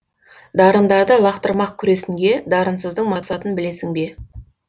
дарындарды лақтырмақ күресінге дарынсыздың мақсатын білесің бе